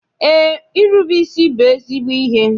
Eé, irube isi bụ ezigbo ihe.